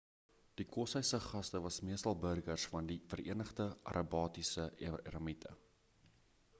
die koshuis se gaste was meestal burgers van die vereenigde arabiese emirate